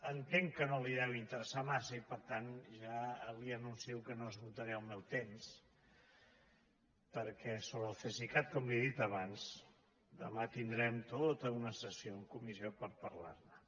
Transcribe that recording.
entenc que no li deu interessar massa i per tant ja li anuncio que no esgotaré el meu temps perquè sobre el cesicat com li he dit abans demà tindrem tota una sessió en comissió per parlar ne